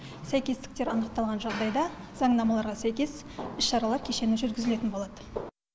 сәйкестіктер анықталған жағдайда заңнамаларға сәйкес іс шаралар кешені жүргізілетін болады